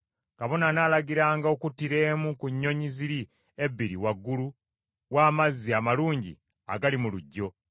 Kabona anaalagiranga okuttira emu ku nnyonyi ziri ebbiri waggulu w’amazzi amalungi agali mu luggyo.